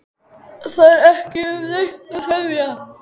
Það er ekki um neitt að semja